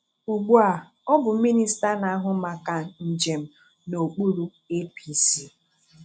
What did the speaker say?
Ugbuà ọ bụ Minista na-ahụ maka njem n’okpuru APC.